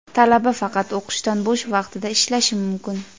talaba faqat o‘qishdan bo‘sh vaqtida ishlashi mumkin.